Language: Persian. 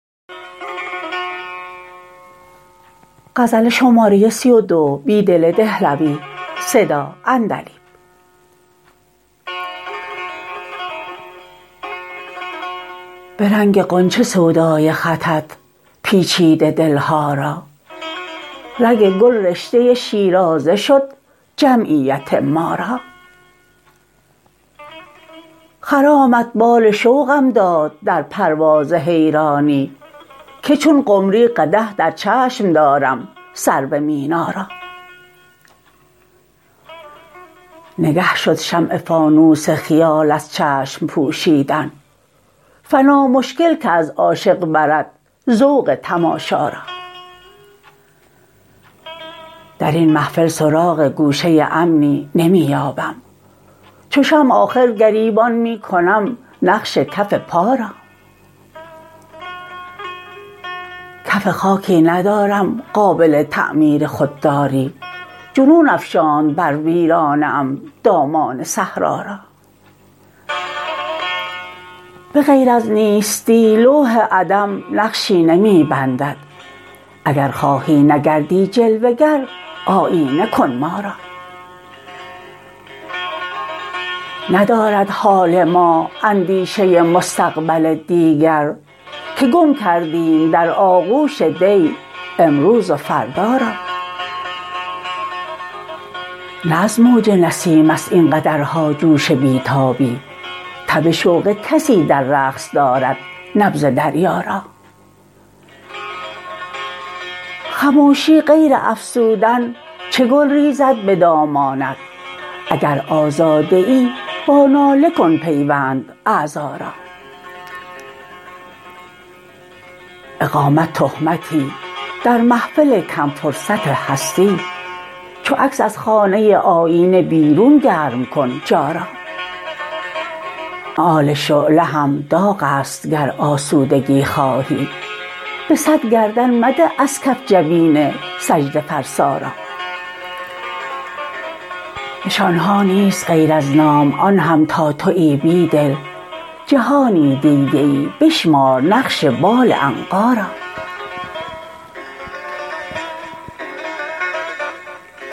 به رنگ غنچه سودای خطت پیچیده دلها را رگ گل رشته شیرازه شد جمعیت ما را خرامت بال شوقم داد در پرواز حیرانی که چون قمری قدح در چشم دارم سرو مینا را نگه شد شمع فانوس خیال از چشم پوشیدن فنا مشکل که از عاشق برد ذوق تماشا را درین محفل سراغ گوشه امنی نمی یابم چو شمع آخر گریبان می کنم نقش کف پا را کف خاکی ندارم قابل تعمیر خودداری جنون افشاند بر ویرانه ام دامان صحرا را به غیر از نیستی لوح عدم نقشی نمی بندد اگر خواهی نگردی جلوه گر آیینه کن ما را ندارد حال ما اندیشه مستقبل دیگر که گم کردیم در آغوش دی امروز و فردا را نه از موج نسیم است این قدرها جوش بی تابی تب شوق کسی در رقص دارد نبض دریا را خموشی غیر افسردن چه گل ریزد به دامانت اگر آزاده ای با ناله کن پیوند اعضا را اقامت تهمتی در محفل کم فرصت هستی چو عکس ازخانه آیینه بیرون گرم کن جا را مآل شعله هم داغ است اگز آسودگی خواهی به صد گردن مده از کف جبین سجده فرسا را نشان ها نیست غیر از نام آن هم تا تویی بیدل جهانی دیده ای بشمار نقش بال عنقا را